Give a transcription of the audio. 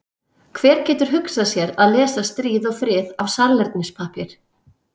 Hver getur hugsað sér að lesa Stríð og frið af salernispappír?